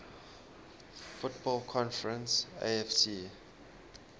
football conference afc